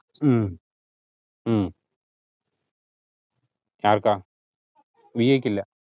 ഉം ഉം ആർക്കാ വി ഐ ക്കില്ല